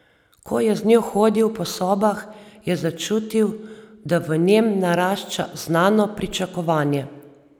Ko je z njo hodil po sobah, je začutil, da v njem narašča znano pričakovanje.